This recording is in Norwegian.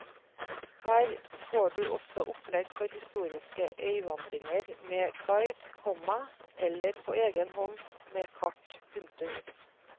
Her får du også opplegg for historiske øyvandringer med guide, komma eller på egenhånd med kart. punktum